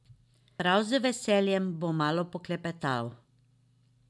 Prav z veseljem bo malo poklepetal.